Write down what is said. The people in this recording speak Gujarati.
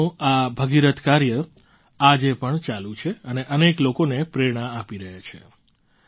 તેમનું આ ભગીરથ કાર્ય આજે પણ ચાલુ છે અને અનેક લોકોને પ્રેરણા આપી રહ્યા છે